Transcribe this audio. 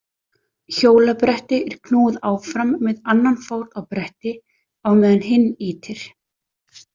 Hjólabretti er knúið áfram með annan fót á bretti á meðan hinn ýtir.